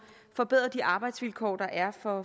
forbedret de arbejdsvilkår der er for